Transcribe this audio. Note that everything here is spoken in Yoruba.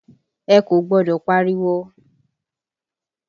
Ẹ kò gbọ́dọ̀ pariwo!